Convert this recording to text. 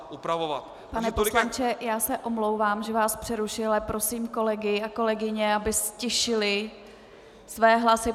Pane poslanče, já se omlouvám, že vás přerušuji, ale prosím kolegy a kolegyně, aby ztišili své hlasy.